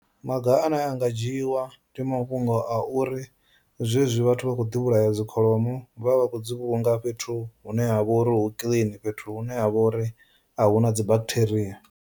Maga ane a nga dzhiiwa ndi mafhungo a uri zwezwi vhathu vha khou ḓi vhulaya dzikholomo vhavha vha khou dzi vhulunga fhethu hune ha vha uri hu clean fhethu hune ha vha uri a huna dzi bakitheria.